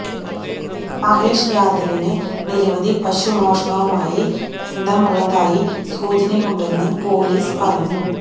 മഹേഷ് യാദവിന് നിരവധി പശുമോഷണവുമായി ബന്ധമുള്ളതായി സൂചനയുണ്ടെന്നു പൊലീസ് പറഞ്ഞു